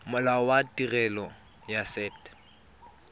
molao wa tirelo ya set